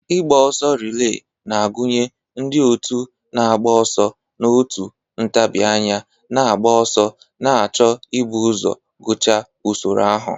ịgba ọsọ relee na-agụnye ndị otu na-agba ọsọ n'otu ntabi anya na-agba ọsọ, na-achọ ibu ụzọ gụchaa usoro ahụ.